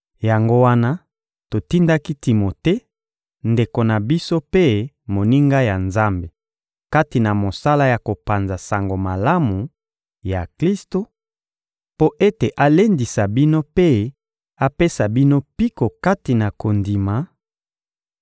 Yango wana totindaki Timote, ndeko na biso mpe moninga ya Nzambe kati na mosala ya kopanza Sango Malamu ya Klisto, mpo ete alendisa bino mpe apesa bino mpiko kati na kondima,